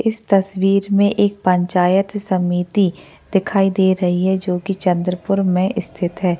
इस तस्वीर में एक पंचायत समिति दिखाई दे रही है जो की चंद्रपुर में स्थित है।